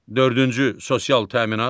Dördüncü sosial təminat.